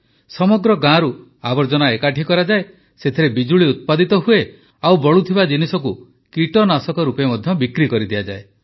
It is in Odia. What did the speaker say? ସମଗ୍ର ଗାଁରୁ ଆବର୍ଜନା ଏକାଠି କରାଯାଏ ସେଥିରେ ବିଜୁଳି ଉତ୍ପାଦିତ ହୁଏ ଆଉ ବଳୁଥିବା ଜିନିଷକୁ କୀଟନାଶକ ରୂପେ ମଧ୍ୟ ବିକ୍ରି କରିଦିଆଯାଏ